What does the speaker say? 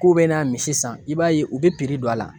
K'u bɛ na misi san i b'a ye u bɛ don a la